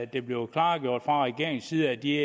det blev klargjort fra regeringens side at de